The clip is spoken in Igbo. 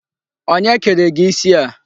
Onye kere gị isi a?